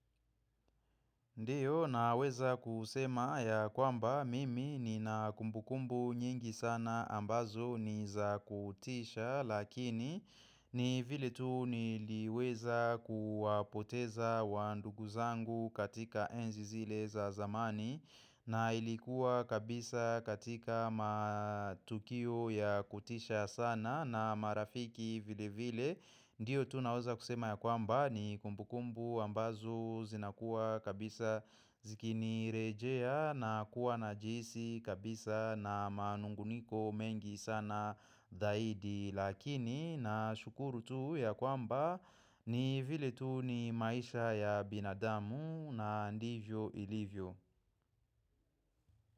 Ndiyo naweza kusema ya kwamba mimi ni na kumbukumbu nyingi sana ambazo ni za kutisha lakini ni vile tu niliweza kuwapoteza wanduguzangu katika enzi zile za zamani na ilikuwa kabisa katika matukio ya kutisha sana na marafiki vile vile Ndiyo tu naeza kusema ya kwamba ni kumbu kumbu ambazo zinakuwa kabisa zikinirejea na kuwa na jisi kabisa na manunguniko mengi sana daidi Lakini na shukuru tu ya kwamba ni vile tu ni maisha ya binadamu na ndivyo ilivyo.